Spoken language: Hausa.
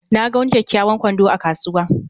Na ga wani kyakkyawan kwando a kasuwa